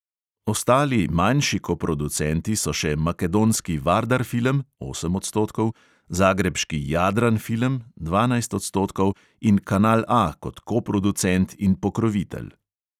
Ostali manjši koproducenti so še makedonski vardar film (osem odstotkov), zagrebški jadran film (dvanajst odstotkov) in kanal A kot koproducent in pokrovitelj.